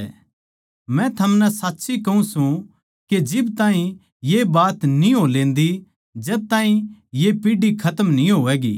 मै थमनै साच्ची कहूँ सूं के जिब ताहीं ये बात न्ही हो लेन्दी जद ताहीं ये पीढ़ी खतम न्ही होवैंगी